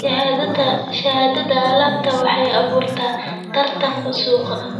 Shahaadada alaabta waxay abuurtaa tartan suuqa.